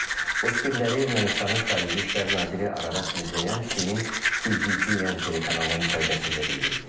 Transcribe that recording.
Bu fikirləri Ermənistanın xarici İşlər naziri Ararat Mirzəyan Çinin CGTN telekanalına müsahibəsində bildirib.